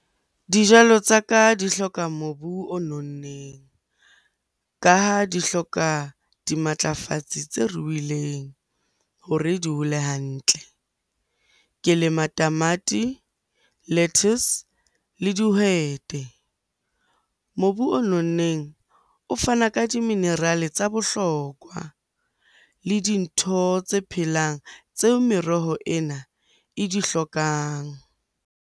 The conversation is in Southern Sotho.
Dijalo tsa ka di hloka mobu o nonneng ka ha di hloka dimatlafatsi tse ruileng hore di hole hantle. Ke lema tamati, lettuce, le dihwete. Mobu o nonneng o fana ka di-mineral-e tsa bohlokwa le dintho tse phelang tseo meroho ena e di hlokang.